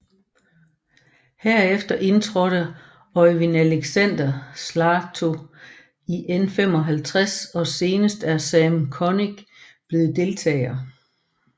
Herefter indtrådte Øivind Alexander Slaatto i N55 og senest er Sam Kronick blevet deltager